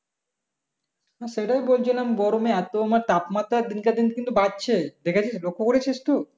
হম সেটাই বলছিলাম গরমে এতো উম তাপমাত্রা দিন কে দিন কিন্তু বাড়ছে দেখেছিস লক্ষ্য করেছিস তুই